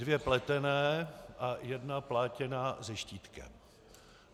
Dvě pletené a jedna plátěná se štítkem.